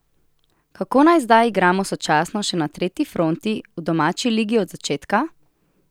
Kako naj zdaj igramo sočasno še na tretji fronti, v domači ligi od začetka?